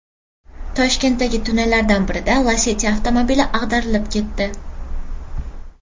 Toshkentdagi tunnellardan birida Lacetti avtomobili ag‘darilib ketdi.